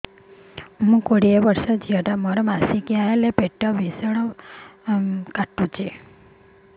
ମୁ କୋଡ଼ିଏ ବର୍ଷର ଝିଅ ଟା ମୋର ମାସିକିଆ ହେଲେ ପେଟ ଭୀଷଣ ପେନ ହୁଏ